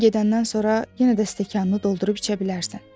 Mən gedəndən sonra yenə də stəkanını doldurub içə bilərsən.